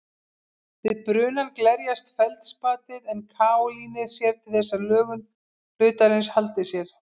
Við brunann glerjast feldspatið en kaólínið sér til þess að lögun hlutarins haldi sér.